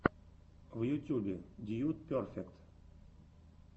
в ютьюбе дьюд перфект